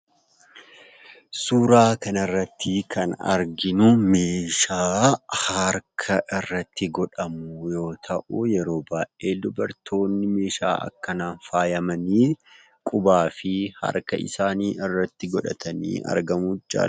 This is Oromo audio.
Suuraa kana irra irratti kan arginu meeshaa harka irratti godhamu yoo ta'u, yeroo baay'ee dubartoonni meeshaa akkanaan faayamanii; qubaafi harka isaanii irratti godhatanii argamuu jaallatu.